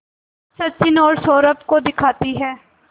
सचिन और सौरभ को दिखाती है